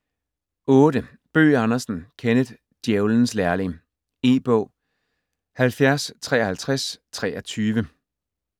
Bøgh Andersen, Kenneth: Djævelens lærling E-bog 705323